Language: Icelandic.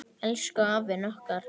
Elsku, elsku afinn okkar.